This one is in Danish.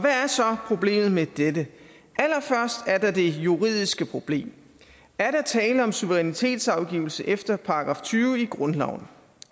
er så problemet med dette allerførst er der det juridiske problem er der tale om suverænitetsafgivelse efter § tyve i grundloven